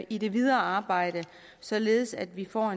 i det videre arbejde således at vi får